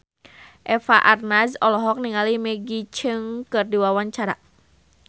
Eva Arnaz olohok ningali Maggie Cheung keur diwawancara